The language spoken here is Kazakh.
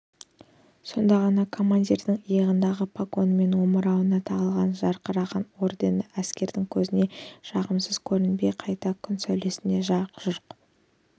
сонда ғана командирдің иығындағы погоны мен омырауына тағылған жарқыраған ордендері әскердің көзіне жағымсыз көрінбей қайта күн сәулесіндей жарқ-жұрқ